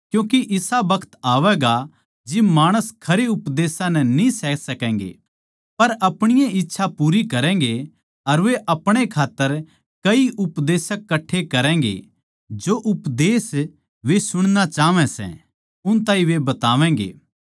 क्यूँके इसा बखत आवैगा जिब माणस खरयां उपदेश न्ही सह सकैगें पर अपणी ए इच्छा पूरी करैगें अर वे अपणे खात्तर कई उपदेशक कट्ठे करैगें जो उपदेश वे सुणणा चाहवै सै उन ताहीं वे बतावैगें